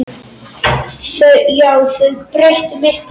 Já, þau breyttu miklu.